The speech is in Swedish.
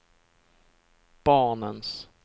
barnens